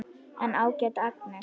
En ágæta Agnes.